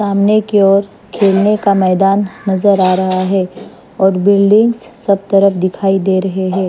सामने की ओर खेलने का मैदान नजर आ रहा है और बिल्डिंग्स सब तरफ दिखाई दे रहे हैं।